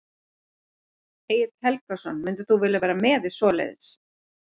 Egill Helgason: Myndir þú vilja vera með í svoleiðis?